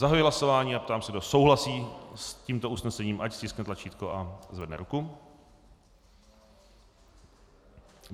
Zahajuji hlasování a ptám se, kdo souhlasí s tímto usnesením, ať stiskne tlačítko a zvedne ruku.